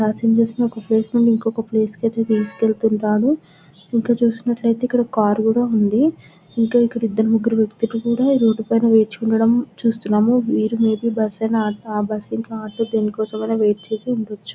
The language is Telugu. పాసెంజర్స్ ఒక ప్లేస్ నుండి ఇంకో ప్లేస్ కి తీసుకెళ్తున్నారు ఇక్కడ చూసినట్టు అయితే ఇంకా కార్ కూడా ఉంది . ఇంకా ఇక్కడ ఇద్దరు వ్యక్తులు కూడా రోడ్ మీద వేచి ఉండడం చూస్తున్నాము బస్సు ఇంకా ఆటో ల కోసం వెయిట్ చేసిఉండొచ్చు.